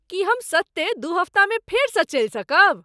की हम सत्ते दू हप्तामे फेर सँ चलि सकब?